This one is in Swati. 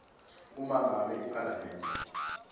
uma ngabe iphalamende